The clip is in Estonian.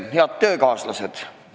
Head töökaaslased!